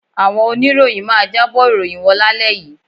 Àwọn oníròyìn máa jábọ̀ ìròyìn wọn lálẹ́ yìí